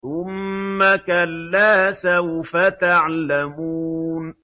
ثُمَّ كَلَّا سَوْفَ تَعْلَمُونَ